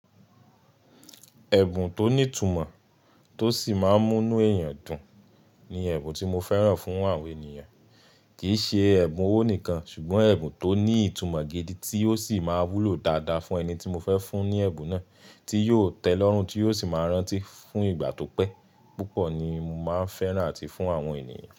Ẹ̀bùn tó ní ìtumọ̀ tó sì máa ń mú inú èèyàn dùn ni ẹ̀bùn tí mo fẹ́ran fún àwọn ènìyàn. Kìí ṣe ẹ̀bùn owó nìkan, ṣùgbọ́n ẹ̀bùn tó ní ìtumọ̀ gidi tí ó sì máa wúlò dáadáa fún ẹni tí mo fẹ́ fún ní ẹ̀bùn náà, tí yóò tẹ́lọ́rùn tí yóò sì máa rántí fún ìgbà tó pẹ́ púpọ̀ ni mo máa ń fẹ́ran àti fún àwọn ènìyàn.